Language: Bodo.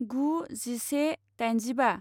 गु जिसे दाइनजिबा